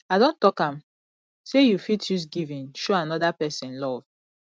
i don tok am sey you fit use giving show anoda pesin love